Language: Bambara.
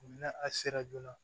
N'a a sera joona